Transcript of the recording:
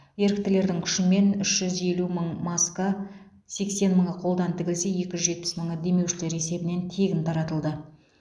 еріктілердің күшімен үш жүз елу мың маска сексен мыңы қолдан тігілсе екі жүз жетпіс мыңы демеушілер есебінен тегін таратылды